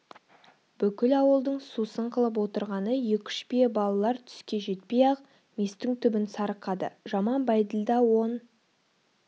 бүкіл ауылдың сусын қылып отырғаны екі-үш бие балалар түске жетпей-ақ местің түбін сарықады жаман бәйділда он